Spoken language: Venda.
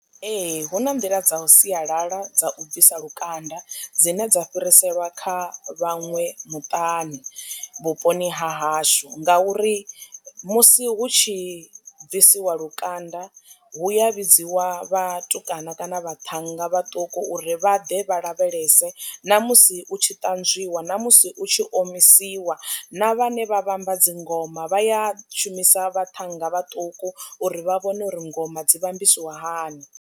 Ee, hu na nḓila dza sialala dza u bvisa lukanda dzine dza fhiriselwa kha vhaṅwe muṱani vhuponi ha hashu ngauri musi hu tshi bvisiwa lukanda hu ya vhidziwa vhatukana kana vhaṱhannga vhaṱuku uri vha ḓe vha lavhelese, na musi u tshi ṱanzwiwa, na musi u tshi omisiwa. Na vhane vha vhamba dzingoma vhaya shumisa vhaṱhannga vhaṱuku uri vha vhone uri ngoma dzi vha ambisiwa hani.